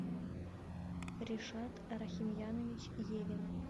ришат рахимьянович евин